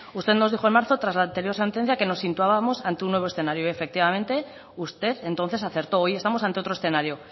usted nos dijo en marzo tras la anterior sentencia que nos situábamos ante un nuevo escenario y efectivamente usted entonces acertó hoy estamos ante otro escenario